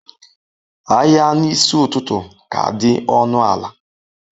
Ahịa n'isi ụtụtụ ka dị ọnụ ala